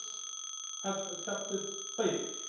Others have accepted favours.